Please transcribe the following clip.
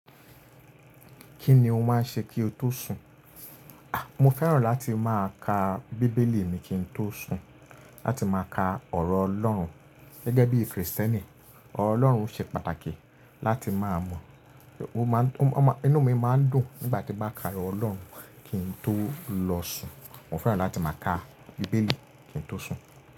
Kí ni o máa ń ṣe kí o tó sùn? A! Mo fẹ́ràn láti máa ka Bíbélì mi kí n tó sùn. Láti máa ka ọ̀rọ̀ Ọlọ́run. Gẹ́gẹ́ bí Kristẹni, ọ̀rọ̀ Ọlọ́run ṣe pàtàkì láti máa mọ̀. Ó má ń, inú mi máa ń dùn nígbà tí mo bá ka ọ̀rọ̀ Ọlọ́run kí n tó lọ sùn. Mo fẹ́ràn láti máa ka Bíbélì kí n tó sùn.